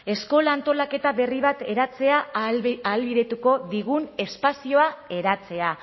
eskola antolaketa berri bat eratzea ahalbidetuko digun espazioa eratzea